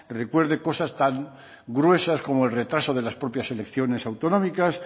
recuerde cosas tan gruesas como el retraso de las propias elecciones autonómicas